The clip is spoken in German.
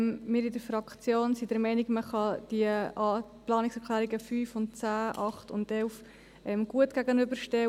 In der Fraktion sind wir der Meinung, man könne die Planungserklärungen 5 und 10 sowie 8 und 11 einander gut gegenüberstellen.